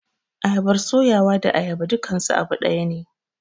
ayabar suyawa da ayaba dukansu abu dayane.